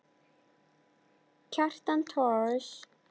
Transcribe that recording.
Kjartan Thors.